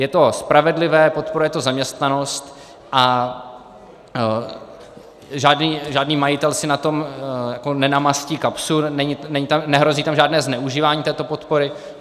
Je to spravedlivé, podporuje to zaměstnanost a žádný majitel si na tom nenamastí kapsu, nehrozí tam žádné zneužívání této podpory.